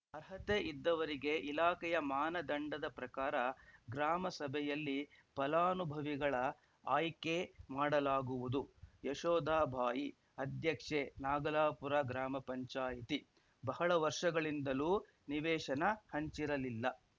ಅರ್ಹತೆ ಇದ್ದವರಿಗೆ ಇಲಾಖೆಯ ಮಾನದಂಡದ ಪ್ರಕಾರ ಗ್ರಾಮ ಸಭೆಯಲ್ಲಿ ಫಲಾನುಭವಿಗಳ ಆಯ್ಕೆ ಮಾಡಲಾಗುವುದು ಯಶೋಧ ಬಾಯಿ ಅಧ್ಯಕ್ಷೆ ನಾಗಲಾಪುರ ಗ್ರಾಮ ಪಂಚಾಯತಿ ಬಹಳ ವರ್ಷಗಳಿಂದಲೂ ನಿವೇಶನ ಹಂಚಿರಲಿಲ್ಲ